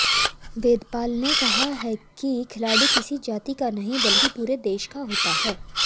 वेदपाल ने कहा कि खिलाड़ी किसी जाति का नहीं बल्कि पूरे देश का होता है